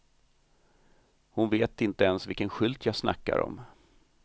Hon vet inte ens vilken skylt jag snackar om.